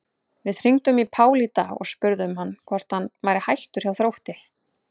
Við hringdum í Pál í dag og spurðum hann hvort hann væri hættur hjá Þrótti?